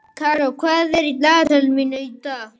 Karó, hvað er á dagatalinu mínu í dag?